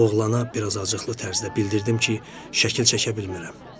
Oğlana biraz acıqlı tərzdə bildirdim ki, şəkil çəkə bilmirəm.